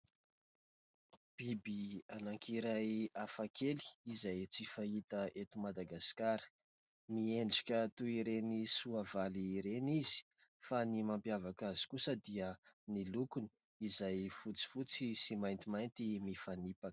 biby anankiray hafakely izay tsy fahita eto Madagasikara miendrika toy ireny soavaly ireny izy, fa ny mampiavaka ay kosa dia ny lokony izay fotsifotsy sy maintimainty mifanipaka.